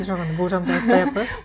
жоқ енді болжам деп айтпай ақ қояйық